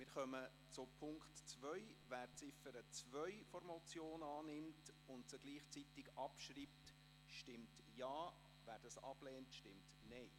Wer die Ziffer 2 der Motion annimmt und gleichzeitig abschreibt, stimmt Ja, wer dies ablehnt, stimmt Nein.